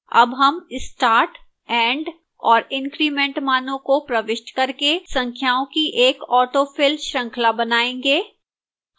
अब हम start end और increment मानों को प्रविष्ट करके संख्याओं की एक autofill श्रृंखला बनायेंगे